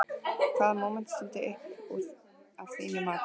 Hvaða móment stendur upp úr að þínu mati?